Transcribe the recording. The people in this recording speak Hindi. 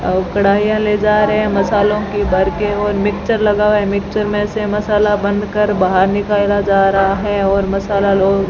और कड़ाईया ले जा रहे है मसालों की भरके और मिक्सचर लगा हुआ है मिक्सचर मे से मसाला बनकर बाहर निकाला जा रहा है और मसाला लो --